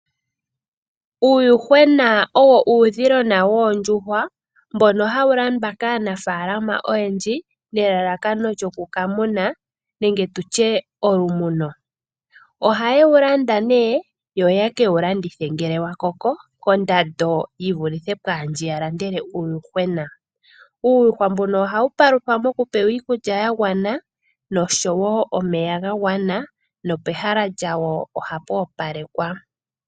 Uuyuhwena owo uudhilona woondjuhwa mbono hawu landwa kaanafaalama oyendji nelalakano lyokukamuna nenge tutye olumuno. Ohaye wulanda nee yo yeke wulandithe ngele wakoko kondando yivulithe pwaandji yalandele uuyuhwena. Uuyuhwa mbuno ohawu paluthwa mokupewa iikulya yagwana nosho wo omeya gagwana nopehala lyawo ohapwoopalekwa.